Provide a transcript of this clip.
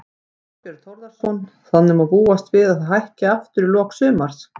Þorbjörn Þórðarson: Þannig að má búast við að það hækki aftur í lok sumars?